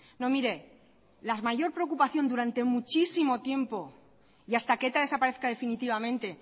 no mire la mayor preocupación durante muchísimo tiempo y hasta que eta desaparezca definitivamente